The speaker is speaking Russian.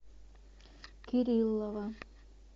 кириллова